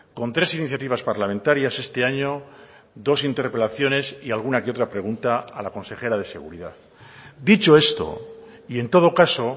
con tres iniciativas parlamentarias este año dos interpelaciones y alguna que otra pregunta a la consejera de seguridad dicho esto y en todo caso